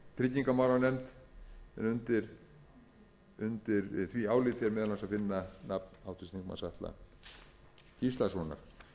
tryggingamálanefnd undir því áliti er meðal annars að finna nafn háttvirtur þingmaður atla gíslasonar